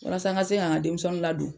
Walasa n ka se ka n ka denmisɛnninw ladon.